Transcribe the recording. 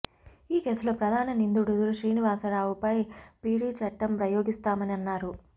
ఈ కేసులో ప్రధాన నిందితుడు శ్రీనివాసరావుపై పీడీ చట్టం ప్రయోగిస్తామని అన్నారు